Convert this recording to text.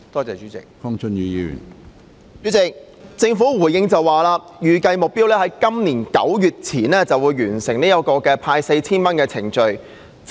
主席，局長的主體答覆表示，預計目標是今年9月底前完成派發 4,000 元的程序。